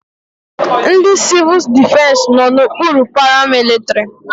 Ndị civul defesi nọ n'okpuru paramilitrị.